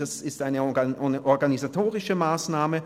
Das ist eine organisatorische Massnahme.